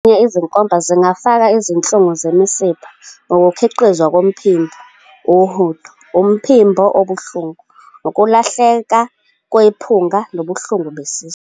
Izinkomba zingafaka izinhlungu zemisipha, ukukhiqizwa komphimbo, uhudo, umphimbo obuhlungu, ukulahleka kwephunga nobuhlungu besisu.